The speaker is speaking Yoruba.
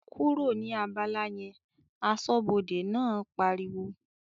"kúrò ní abala yẹn!", aṣọ́bọdè náà pariwo